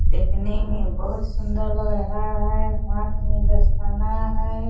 देखने मे बहुत सुंदर लग रहा है हाथ मे दस्ताना है